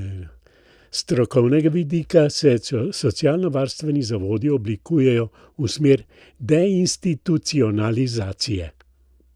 S strokovnega vidika se socialnovarstveni zavodi oblikujejo v smer deinstitucionalizacije.